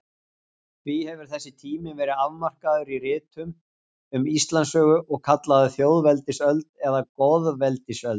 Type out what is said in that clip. Því hefur þessi tími verið afmarkaður í ritum um Íslandssögu og kallaður þjóðveldisöld eða goðaveldisöld.